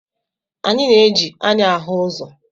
Anyị na-eji anya ahụ ụzọ.